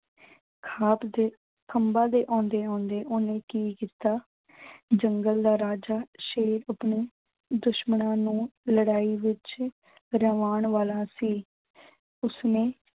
ਦੇ ਖੰਬਾ ਦੇ ਆਉਂਦੇ ਆਉਂਦੇ ਓਹਨੇ ਕੀ ਕੀਤਾ ਜੰਗਲ ਦਾ ਰਾਜਾ ਸ਼ੇਰ ਆਪਣੇ ਦੁਸ਼ਮਣਾਂ ਨੂੰ ਲੜਾਈ ਵਿੱਚ ਰਵਾਉਣ ਵਾਲਾ ਸੀ। ਉਸਨੇ